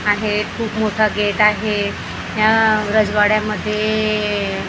आहे खूप मोठा गेट आहे या रजवाड्यामध्ये--